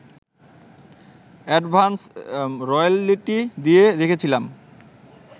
advance royalty দিয়ে রেখেছিলাম